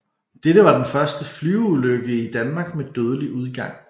Dette var den første flyveulykke i Danmark med dødelig udgang